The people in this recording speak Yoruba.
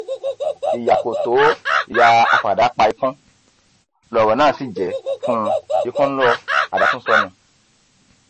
ìyá kò tó ìyá àfádà pa ikùn lọrọ náà sì jẹ fún un ikùn ló àdá tún sọnù